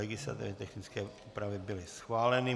Legislativně technické úpravy byly schváleny.